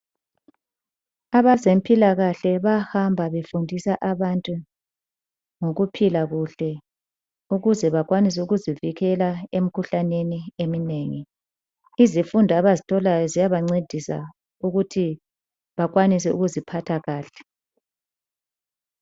Abazempilakahle bayahamba befundisa abantu ngokuphila kuhle ukuze bakwanise ukuzivikela emkhuhlaneni eminengi. Izifundo abazitholayo ziyabancedisa ukuthi bakwanise ukuziphatha kahle.